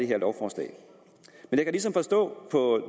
her lovforslag men